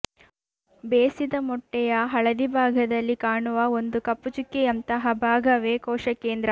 ಬೇಸಿದ ಮೊಟ್ಟೆಯ ಹಳದಿ ಭಾಗದಲ್ಲಿ ಕಾಣುವ ಒಂದು ಕಪ್ಪು ಚುಕ್ಕಿಯಂತಹ ಭಾಗವೇ ಕೋಶಕೇಂದ್ರ